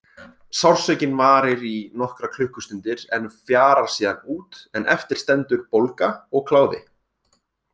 Sársaukinn varir í nokkrar klukkustundir en fjarar síðan út en eftir stendur bólga og kláði.